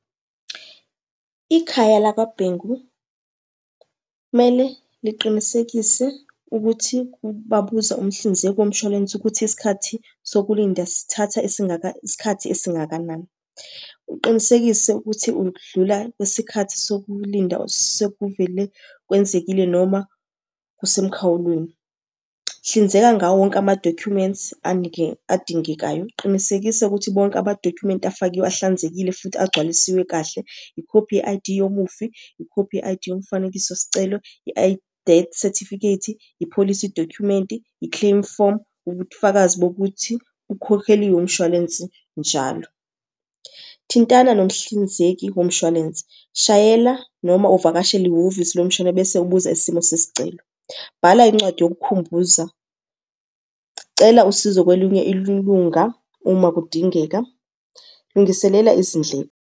Ikhaya lakwaBhengu kumele liqinisekise ukuthi babuza umhlinzeki womshwalense ukuthi isikhathi sokulinda sithatha esingaka isikhathi esingakanani. Uqinisekise ukuthi udlula kwisikhathi sokulinda sekuvele kwenzekile noma kusemkhawulweni. Hlinzeka ngawonke ama-documents adingekayo. Qinisekisa ukuthi bonke amadokhumenti afakiwe ahlanzekile futhi agcwalisiwe kahle. Ikhophi ye-I_D yomufi, ikhophi ye-I_D yomfanekiso sicelo, death sethifikhethi, ipholisi dokhumenti, i-claim form. Ubufakazi bokuthi ukhokheliwe umshwalensi njalo. Thintana nomhlinzeki womshwalense, shayela noma uvakashele ihhovisi lomshwalense bese ubuza isimo sesicelo. Bhala incwadi yokukhumbuza, cela usizo kwelinye ilunga uma kudingeka, lungiselela izindleko.